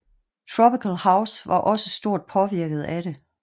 Tropical house var også stort påvirket af det